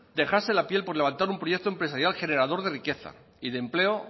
dejarse la piel por levantar un proyecto empresarial generador de riqueza y de empleo